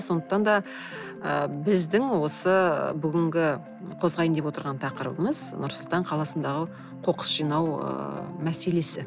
сондықтан да ы біздің осы бүгінгі қозғайын деп отырған тақырыбымыз нұр сұлтан қаласындағы қоқыс жинау ыыы мәселесі